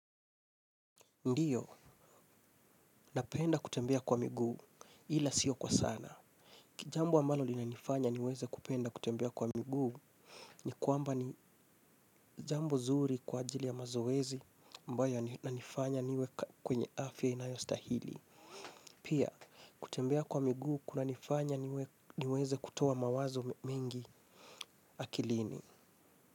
Ndio, napenda kutembea kwa miguu, ila sio kwa sana. Jambo ambalo linalonifanya nipende kutembea kwa miguu ni kwamba ni jambo nzuri kwa ajili ya mazoezi ambayo inanifanya niwe kwa afya inayostahili pia kutembea kwa miguu kunanifanya niweze kutoa mawazo mengi akilini.